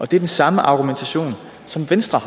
det er den samme argumentation som venstre